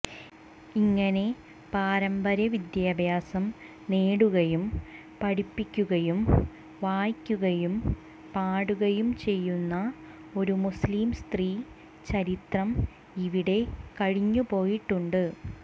ഇങ്ങനെ പാരമ്പര്യ വിദ്യാഭ്യാസം നേടുകയും പഠിപ്പിക്കുകയും വായിക്കുകയും പാടുകയും ചെയ്യുന്ന ഒരു മുസ്ലിം സ്ത്രീ ചരിത്രം ഇവിടെ കഴിഞ്ഞുപോയിട്ടുണ്ട്